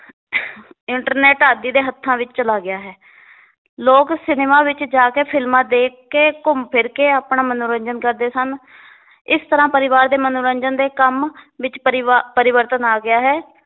internet ਆਦਿ ਦੇ ਹੱਥਾਂ ਵਿਚ ਚਲਾ ਗਿਆ ਹੈ ਲੋਗ ਸਿਨੇਮਾ ਵਿਚ ਜਾ ਕੇ ਫ਼ਿਲਮਾਂ ਦੇਖ ਕੇ ਘੁੰਮ ਫਿਰ ਕੇ ਆਪਣਾ ਮਨੋਰੰਜਨ ਕਰਦੇ ਸਨ ਇਸ ਤਰ੍ਹਾਂ ਪਰਿਵਾਰ ਦੇ ਮਨੋਰੰਜਨ ਦੇ ਕੰਮ ਵਿੱਚ ਪਰਿਵਾ~ ਪਰਿਵਰਤਨ ਆ ਗਿਆ ਹੈ l